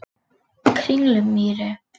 Kringlumýri